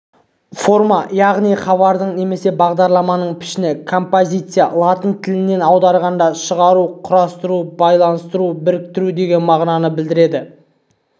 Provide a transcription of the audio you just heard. форма яғни хабардың немесе бағдарламаның пішіні композициясы латын тілінен аударғанда шығару құрастыру байланыстыру біріктіру деген мағынаны береді